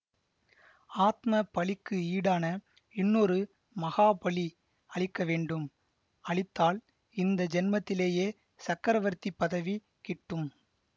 ஆத்ம பலிக்கு ஈடான இன்னொரு மகா பலி அளிக்க வேண்டும் அளித்தால் இந்த ஜென்மத்திலேயே சக்கரவர்த்தி பதவி கிட்டும்